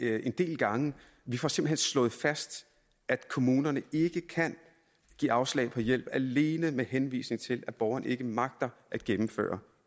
det en del gange vi får simpelt hen slået fast at kommunerne ikke kan give afslag på hjælp alene med henvisning til at borgeren ikke magter at gennemføre